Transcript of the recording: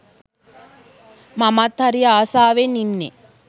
මමත් හරි ආසවෙන් ඉන්නේ